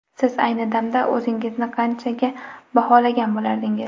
Siz ayni damda o‘zingizni qanchaga baholagan bo‘lardingiz?